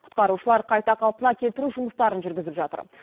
құтқарушылар қайта қалпына келтіру жұмыстарын жүргізіп жатыр